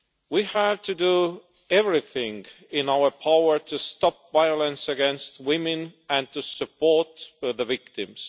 We have to do everything in our power to stop violence against women and to support the victims.